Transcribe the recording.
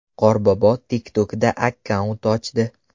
Qorbobo TikTok’da akkaunt ochdi.